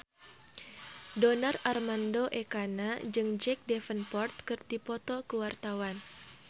Donar Armando Ekana jeung Jack Davenport keur dipoto ku wartawan